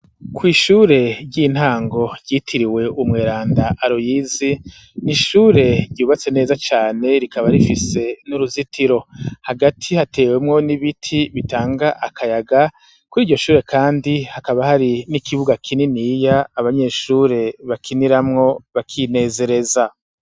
Kw'ishure ry'intango ryitiriwe umweranda aroyizi ni ishure ryubatse neza cane rikaba rifise n'uruzitiro hagati hatewemwo n'ibiti bitanga akayaga kuri iryo shure, kandi hakaba hari n'ikibuga kininiya abanyeshure bakiniramwo bakinezereza.